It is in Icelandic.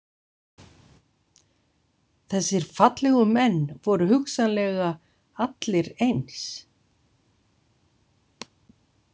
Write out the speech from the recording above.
Þessir fallegu menn voru hugsanlega allir eins.